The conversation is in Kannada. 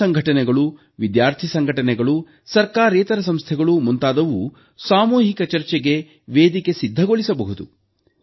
ಯುವ ಸಂಘಟನೆಗಳು ವಿದ್ಯಾರ್ಥಿ ಸಂಘಟನೆಗಳು ಸರ್ಕಾರೇತರ ಸಂಸ್ಥೆಗಳು ಮುಂತಾದವು ಸಾಮೂಹಿಕ ಚರ್ಚೆಗೆ ವೇದಿಕೆ ಸಿದ್ಧಗೊಳಿಸಬಹುದು